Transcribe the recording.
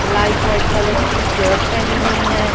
Light white colour की shirt पहनी हुई है ।